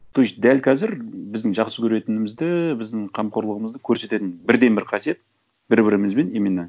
то есть дәл қазір біздің жақсы көретінімізді біздің қамқорлығымызды көрсететін бірден бір қасиет бір бірімізбен именно